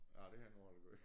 Ah det har jeg nu aldrig gjort